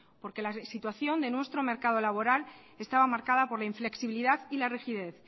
porque la situación de nuestro mercado laboral estaba marcada por la inflexibilidad y la rigidez